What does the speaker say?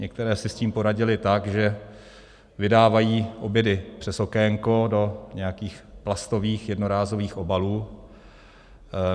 Některé si s tím poradily tak, že vydávají obědy přes okénko do nějakých plastových jednorázových obalů.